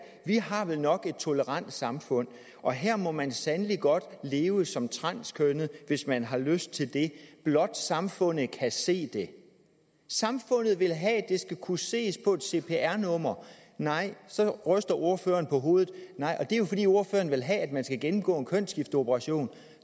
vi har vel nok et tolerant samfund og her må man sandelig godt leve som transkønnet hvis man har lyst til det blot samfundet kan se det samfundet vil have det skal kunne ses på et cpr nummer nej så ryster ordføreren på hovedet og det er jo fordi ordføreren vil have at man skal gennemgå en kønsskifteoperation